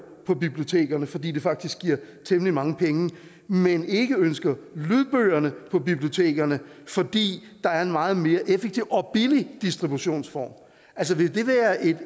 på bibliotekerne fordi det faktisk giver temmelig mange penge men ikke ønsker lydbøgerne på bibliotekerne fordi der er en meget mere effektiv og billig distributionsform